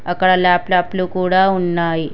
అక్కడ ల్యాప్టాప్ లు కూడా ఉన్నాయి.